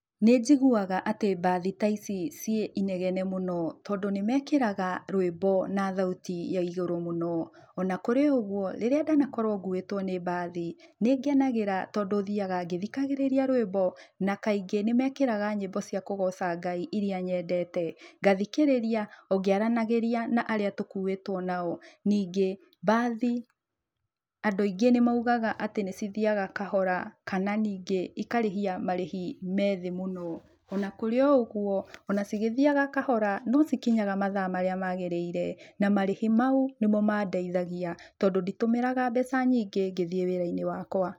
Nĩ njiguaga atĩ mbathi ta ici ciĩ inegene mũno tondũ nĩ mekĩraga rwĩmbo na thauti ya igũrũ mũno ona kũrĩ o ũguo rĩrĩa ndanakorwo nguĩtwo nĩ mbathi nĩ ngenagĩra tondũ thiaga ngĩthikagĩrĩria rwĩmbo na kaingĩ nĩ mekĩraga nyĩmbo cia kũgooca Ngai iria nyendete, ngathikĩrĩria o ngĩaranagĩria na arĩa tũkuĩtwo nao ningĩ mbathi andũ aingĩ nĩ maugaga atĩ nĩ cithiaga kahora kana ningĩ ikarĩhia marĩhi me thĩ mũno ona kũrĩ o ũguo ona cigĩthiaga kahora no cikinyaga mathaa marĩ magĩrĩire na marĩhi mau ĩno mandeithagia, tondũ nditũmĩraga mbeca nyingĩ ngĩthiĩ wĩra-inĩ wakwa.